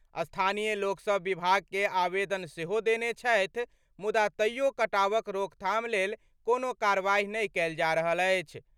स्थानीय लोकसभ विभाग के आवेदन सेहो देने छथि मुदा तइयो कटावक रोकथाम लेल कोनो कार्रवाई नहि कएल जा रहल अछि।